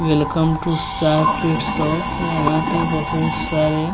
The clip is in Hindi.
वेलकम टू यहां पे बहुत सारे--